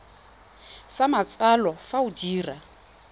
sa matsalo fa o dira